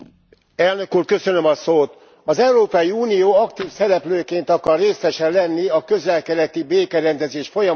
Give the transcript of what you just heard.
Az Európai Unió aktív szereplőként akar részese lenni a közel keleti békerendezés folyamatának, amit helyeselni lehet.